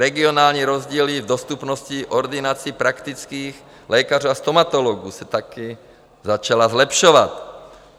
Regionální rozdíly v dostupnosti ordinací praktických lékařů a stomatologů se také začaly zlepšovat.